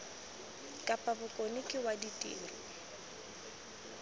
kapa bokone ke wa ditiro